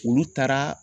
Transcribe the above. Olu taara